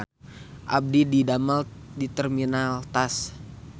Abdi didamel di Terminal Tas